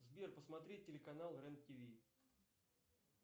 сбер посмотреть телеканал рен тв